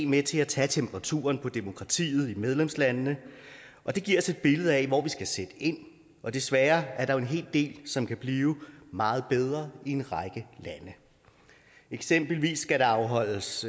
med til at tage temperaturen på demokratiet i medlemslandene og det giver os et billede af hvor vi skal sætte ind og desværre er der en hel del som kan blive meget bedre i en række lande eksempelvis skal der afholdes